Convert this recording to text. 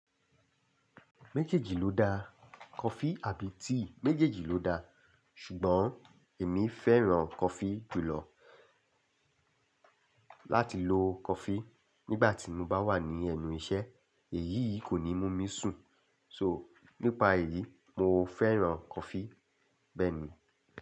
Méjèèjì ló da. Coffee àbí tea méjèèjì ló da, ṣùgbọ́n èmi fẹ́ràn coffee jùlọ. Láti lo coffee nígbà tí mo bá wà ní ẹnu iṣẹ́, èyìí kò ní mú mí sùn. So nípa èyí, mo fẹ́ràn coffee. Bẹ́ẹ̀ ni.